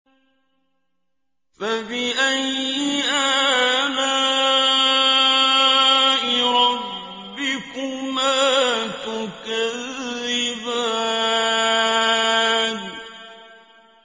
فَبِأَيِّ آلَاءِ رَبِّكُمَا تُكَذِّبَانِ